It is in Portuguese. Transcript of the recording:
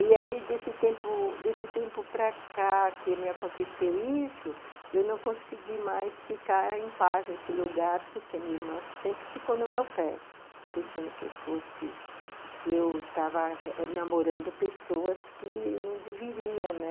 E aí, desse tempo desse tempo para cá que me aconteceu isso, eu não consegui mais ficar em paz nesse lugar, porque minha irmã sempre ficou no meu pé, pensando que eu fosse, que eu estava namorando pessoas que não deveria, né?